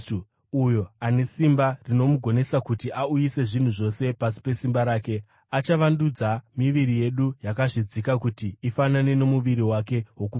uyo ane simba rinomugonesa kuti auyise zvinhu zvose pasi pesimba rake, achavandudza miviri yedu yakazvidzika kuti ifanane nomuviri wake wokubwinya.